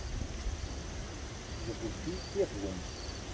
запусти пеплум